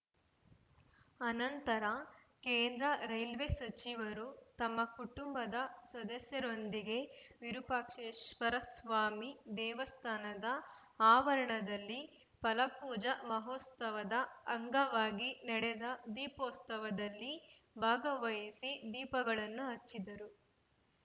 ಆನಂತರ ಕೇಂದ್ರ ರೈಲ್ವೆ ಸಚಿವರು ತಮ್ಮ ಕುಟುಂಬದ ಸದಸ್ಯರೊಂದಿಗೆ ವಿರೂಪಾಕ್ಷೇಶ್ವರಸ್ವಾಮಿ ದೇವಸ್ಥಾನದ ಆವರಣದಲ್ಲಿ ಫಲಪೂಜಾ ಮಹೋತ್ಸವದ ಅಂಗವಾಗಿ ನಡೆದ ದೀಪೋತ್ಸವದಲ್ಲಿ ಭಾಗವಹಿಸಿ ದೀಪಗಳನ್ನು ಹಚ್ಚಿದರು